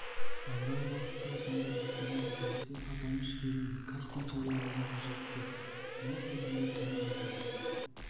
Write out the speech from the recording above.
алдағы уақытта сондай бастама көтерілсе аталмыш фильмге кастинг жариялаудың қажеті жоқ мына секілді түрі адам